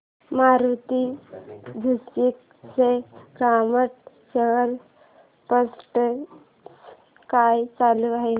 Maruti Suzuki चा market share percentage काय चालू आहे